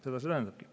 Seda see tähendabki.